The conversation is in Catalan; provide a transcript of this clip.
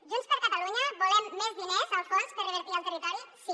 junts per catalunya volem més diners al fons per revertir al territori sí